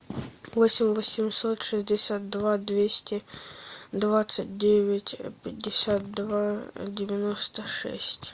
восемь восемьсот шестьдесят два двести двадцать девять пятьдесят два девяносто шесть